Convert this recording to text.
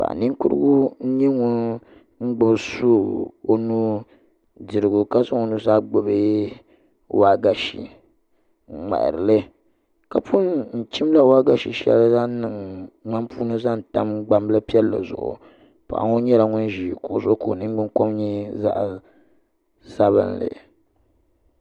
Paɣa ninkurigu n nyɛ ŋun gbubi suu o nuu ka zaŋ o nuzaa gbubi waagashe n ŋmaharili ka pun chimla waagashe shɛli n niŋ ŋmani puuni zaŋ tam gbambili piɛlli zuɣu paɣa ŋo nyɛla ŋun ʒi kuɣu zuɣu ka o ningbuni kom nyɛ zaɣ sabinli